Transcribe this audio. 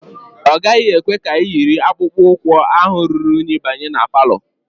Ọ gaghị ekwe ka iyiri akpụkpọ ụkwụ ahụ ruru unyi banye ma palọ